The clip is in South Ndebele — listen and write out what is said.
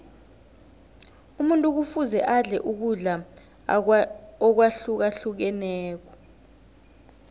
umuntu kufuze adle ukudla akwahlukahlukeneko